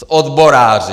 S odboráři.